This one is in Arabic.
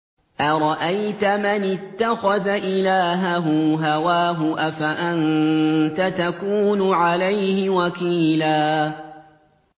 أَرَأَيْتَ مَنِ اتَّخَذَ إِلَٰهَهُ هَوَاهُ أَفَأَنتَ تَكُونُ عَلَيْهِ وَكِيلًا